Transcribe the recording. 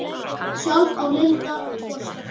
Sjálf á Linda tvo stráka.